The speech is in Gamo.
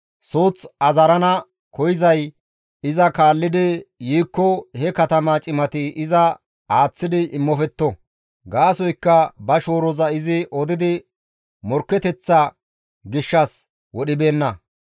Suuth azarana koyzay iza kaallidi yiikko he katama cimati iza aaththi immofetto. Gaasoykka ba shooroza izi odi morkketeththa gishshas wodhibeenna.